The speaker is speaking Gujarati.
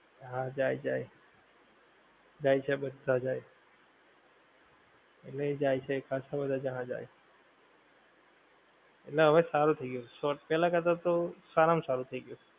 હા જાય જાય. જાય છે બધા જાય. એટલે જાય છે ખસે બધા જાય છે. એટલે હવે સારું થઈ ગયું છ, સો પહેલા કરતાં તો સારા માં સારું થઈ ગયું.